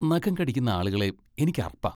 നഖം കടിക്കുന്ന ആളുകളെ എനിക്ക് അറപ്പാ.